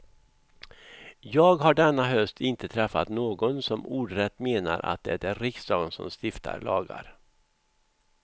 Jag har denna höst inte träffat någon som ordrätt menar att det är riksdagen som stiftar lagar.